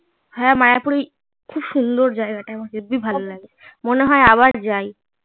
হ্যাঁ মায়াপুরে খুব সুন্দর যায়া হেব্বি ভালো লাগে মনে হয় আবার যাই